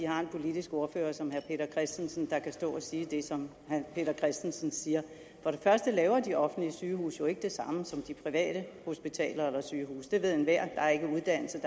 har en politisk ordfører som herre peter christensen der kan stå og sige det som herre peter christensen siger for det første laver de offentlige sygehuse jo ikke det samme som de private hospitaler eller sygehuse det ved enhver der er ikke uddannelse i